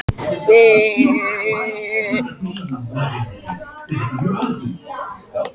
Hin mismunandi frumefni innihalda hins vegar ólíkan fjölda róteinda.